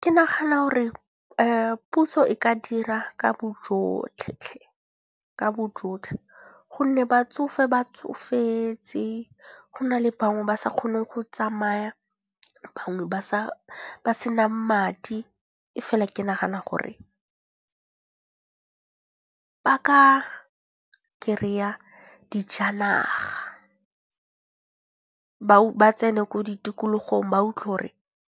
Ke nagana gore puso e ka dira ka bo jotlhe gonne batsofe ba tsofetse, go na le bangwe ba sa kgone go tsamaya, bangwe ba ba senang madi. E fela ke nagana gore ba ka kry-a dijanaga ba tsene ko di tikologong ba utlwe gore